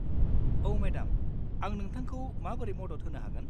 औ मेडाम, आं नोंथांखौ माबोरै मदद होनो हागोन?